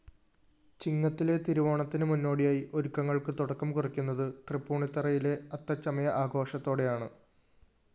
ചിങ്ങത്തിലെ തിരുവോണത്തിന് മുന്നോടിയായി ഒരുക്കങ്ങള്‍ക്ക് തുടക്കം കുറിയ്ക്കുന്നത് തൃപ്പൂണിത്തുറയിലെ അത്തച്ചമയആഘോഷത്തോടെയാണ്